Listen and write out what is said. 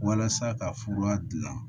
Walasa ka fura dilan